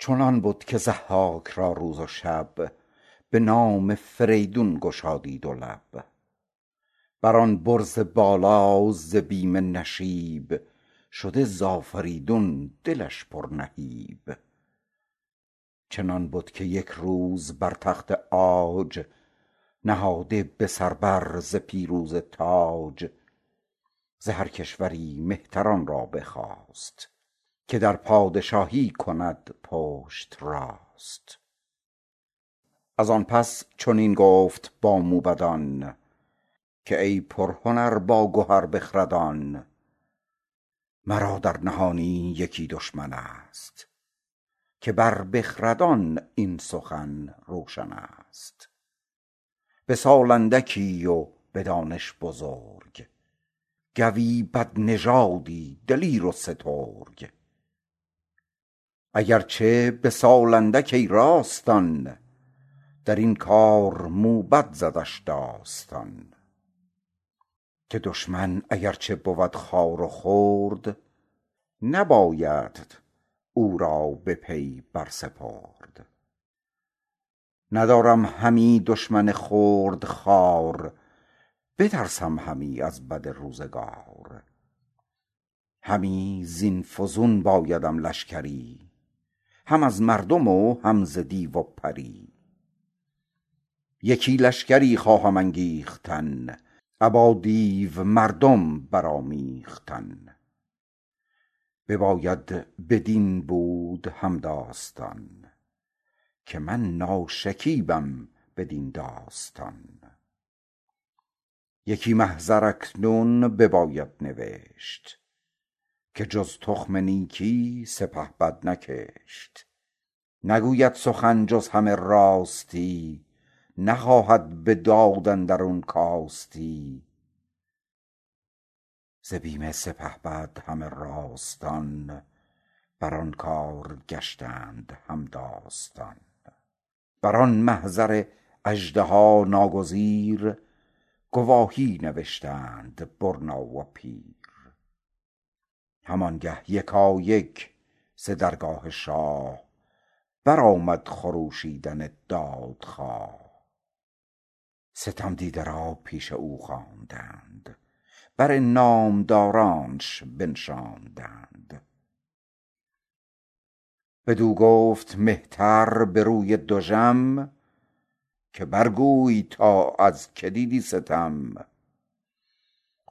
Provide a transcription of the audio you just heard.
چنان بد که ضحاک را روز و شب به نام فریدون گشادی دو لب بر آن برز بالا ز بیم نشیب شده ز آفریدون دلش پر نهیب چنان بد که یک روز بر تخت عاج نهاده به سر بر ز پیروزه تاج ز هر کشوری مهتران را بخواست که در پادشاهی کند پشت راست از آن پس چنین گفت با موبدان که ای پرهنر باگهر بخردان مرا در نهانی یکی دشمن ست که بر بخردان این سخن روشن است به سال اندکی و به دانش بزرگ گوی بدنژادی دلیر و سترگ اگر چه به سال اندک ای راستان درین کار موبد زدش داستان که دشمن اگر چه بود خوار و خرد نبایدت او را به پی بر سپرد ندارم همی دشمن خرد خوار بترسم همی از بد روزگار همی زین فزون بایدم لشکری هم از مردم و هم ز دیو و پری یکی لشگری خواهم انگیختن ابا دیو مردم برآمیختن بباید بدین بود هم داستان که من ناشکیبم بدین داستان یکی محضر اکنون بباید نوشت که جز تخم نیکی سپهبد نکشت نگوید سخن جز همه راستی نخواهد به داد اندرون کاستی ز بیم سپهبد همه راستان بر آن کار گشتند هم داستان بر آن محضر اژدها ناگزیر گواهی نوشتند برنا و پیر هم آنگه یکایک ز درگاه شاه برآمد خروشیدن دادخواه ستم دیده را پیش او خواندند بر نامدارانش بنشاندند بدو گفت مهتر به روی دژم که بر گوی تا از که دیدی ستم